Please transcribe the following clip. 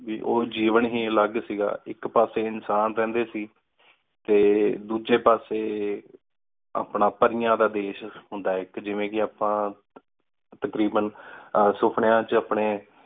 ਉ ਜਿਵਣ ਹੀ ਅਲਘ ਸੀ ਗਾ। ਇਕ ਪਾਸੇ ਇਨਸਾਨ ਰਹੰਦੇ ਸੀ ਤੇ ਦੂਜੀ ਪਾਸੇ ਆਪਣਾ ਪਰੀਆਂ ਦਾ ਦੇਸ਼ ਹੁੰਦਾ ਇਕ ਜਿਂਵੇ ਕਿ ਆਪਾ ਤਕਰੀਬਨ ਸੁਪ੍ਨੇਯਾ ਚ ਅਪਣੇ